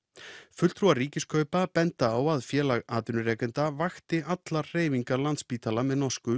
fulltrúar Ríkiskaupa benda á að Félag atvinnurekenda vakti allar hreyfingar Landspítala með norsku